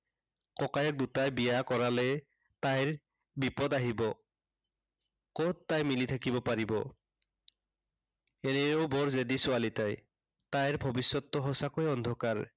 ককায়েক দুটাই বিয়া কৰালে তাইৰ বিপদ আহিব। কত তাই মিলি থাকিব পাৰিব। এনেও বৰ জেদী ছোৱালী তাই। তাইৰ ভৱিষ্য়তটো সঁচাকৈয়ে অন্ধকাৰ